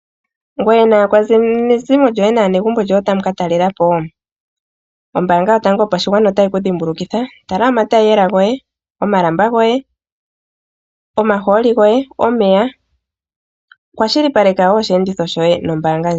Ngoye naakwanezimo lyoye nenge naanegumbo lyoye otamu ka talelapo? Ombanga yotango yopashigwana otayi ku dhimbulukitha, tala omatayiiyela goye, omalamba goye, omaholi goye, omeya ano kwashilipaleka oshiyenditho shoye nombanga ndjika.